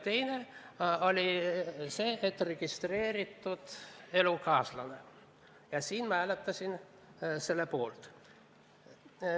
Teine variant rääkis registreeritud elukaaslasest ja ma hääletasin selle poolt.